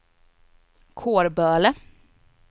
Kårböle